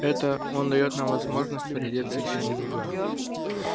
это он даёт нам возможность переодеться ещё немного